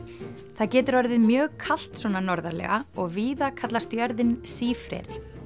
það getur orðið mjög kalt svona norðarlega og víða kallast jörðin sífreri